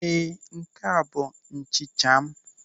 Ee, nke ahụ bụ nchicha m.